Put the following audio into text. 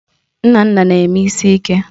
Nnanna na-eme isi ike